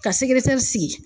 Ka sigi.